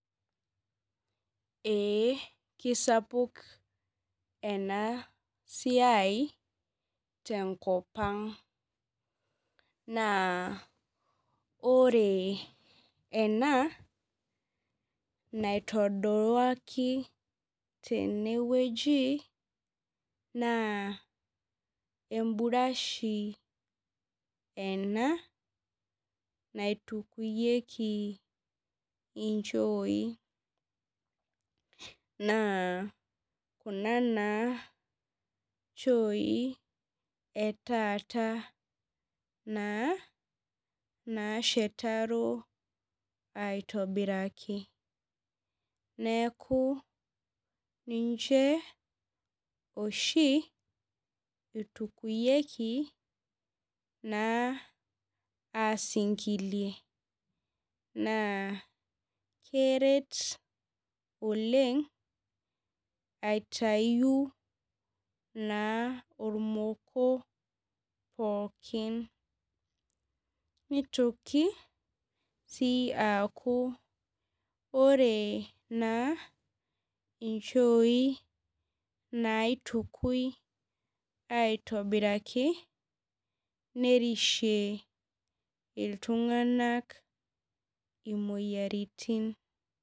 Ee kesapuk enasiai tenkopang na ore ena naitoduaki tenewueji na emburashi ena naitukinyieki nchooi na kuna na nchooi etaata nashetaro aitobiraki neaku ninche oshi itukuyieki aisingilie na keret oleng aitau na ormoko pooki nitoki sii aku ore nchoii naitukui aitobiraki nerishie iltunganak imoyiaritin.